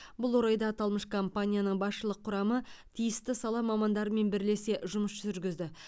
бұл орайда аталмыш компанияның басшылық құрамы тиісті сала мамандарымен бірлесе жұмыс жүргізді